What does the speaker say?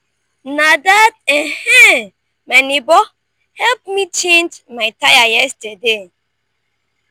na dat um my nebor help me change my tire yesterday.